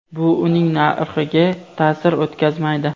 bu uning narxiga ta’sir o‘tkazmaydi.